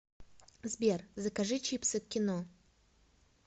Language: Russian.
сбер закажи чипсы к кино